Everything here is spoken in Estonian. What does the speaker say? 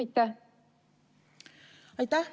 Aitäh!